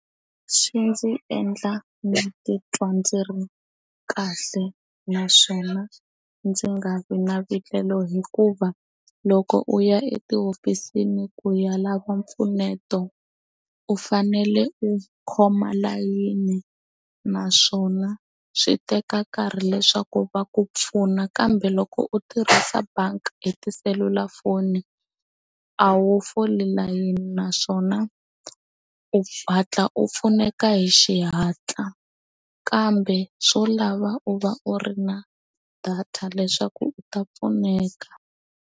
Swi ndzi endla ndzi titwa ndzi ri kahle naswona ndzi nga vi na vulelo hikuva loko u ya etihofisini ku ya lava mpfuneto u fanele u khoma layini naswona swi teka nkarhi leswaku va ku pfuna kambe loko u tirhisa bangi e tiselulafoni a wu fole layeni naswona u hatla u pfuneka hi xihatla kambe swo lava u va u ri na data leswaku u ta pfuneka.